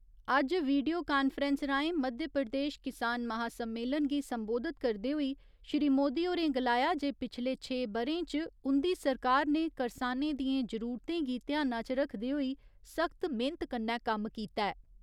अज्ज video conference राहें मध्यप्रदेश किसान महासम्मेलन गी संबोधित करदे होई श्री मोदी होरें गलाया जे पिछले छे ब'रें च उंदी सरकार ने करसानें दियें जरूरतें गी ध्याना च रक्खदे होई सख्त मेह्‌नत कन्नै कम्म कीता ऐ।